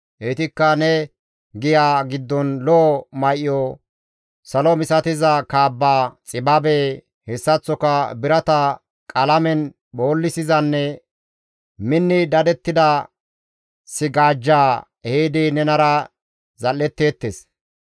Heytikka ne giya giddon lo7o may7o, salo misatiza kaabba, xibabe, hessaththoka birata qalamen phoollizanne minni dadettida sigaajja ehidi nenara zal7etteettes.